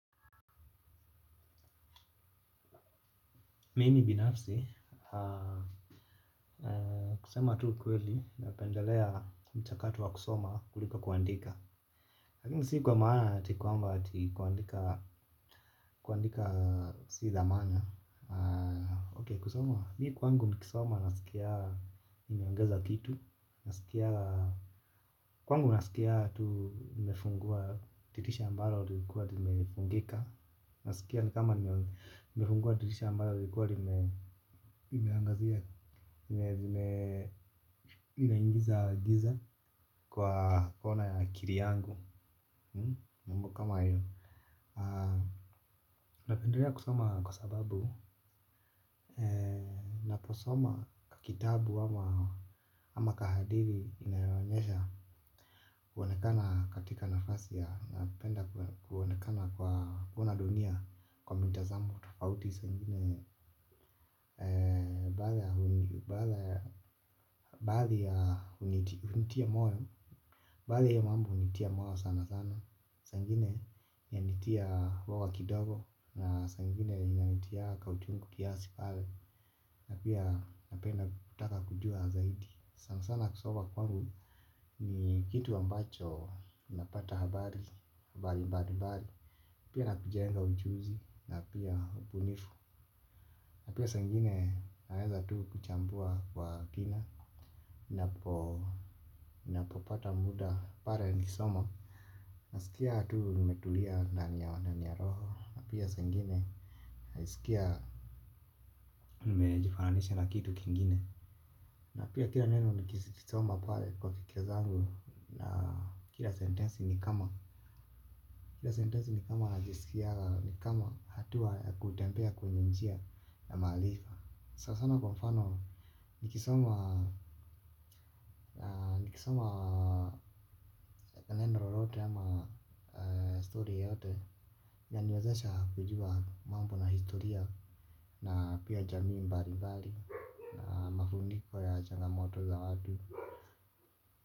Mimi binafsi, kusema tu ukweli napendelea mchakato wa kusoma kuliko kuandika lakini si kwa maana ati kwamba ati kuandika si za maana Ok kusoma, mi kwangu nikisoma nasikia nimeongeza kitu. Kwangu nasikia tu nimefungua dirisha ambalo lilikua limefungika. Nasikia ni kama nimefungua dirisha ambalo lilikua limeangazia inaingiza giza kwa kona ya akili yangu jambo kama hilo napendelea kusoma kwa sababu ninaposomankitabu ama kahadithi inayo onyesha kuonekana katika nafasi bali ya bali ya unitia moe. Baadhi ya mambo hunitia moyo sana sana. Saa ingine inanitia uoga kidogo. Na saa ingine inanitia kauchungu kiasi pale. Napia napenda kutaka kujua zaidi sana sana kusoba kwanu. Ni kitu ambacho napata habari. Pia na kujenga ujuzi. Na pia ubunifu. Na pia saa ingine naweza tu kuchambua kwa kina. Napopata muda pale nikisoma nasikia tu nimetulia ndani ya ya roho. Na pia saa ingine najisikia nimejifananisha na kitu kingine. Na pia kila neno nikisoma pale kwa kikia zangu. Na kila sentensi ni kama kila sentensi ni kama najisikia ni kama hatu akutempea kwenye mjia ya maarifa sana sana kwa mfano Nikisoma Nikisoma Neno lolote ama story yote. Gani wazasa kujua mambo na historia na pia jamii mbali mbali. Na mafuniko ya changamoto za watu.